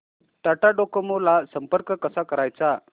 Tata Docomo ला संपर्क कसा करायचा